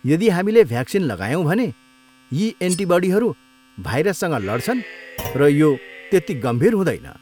यदि हामीले भ्याक्सिन लगायौँ भने यी एन्टिबडीहरू भाइरससँग लड्छन् र यो त्यति गम्भीर हुँदैन।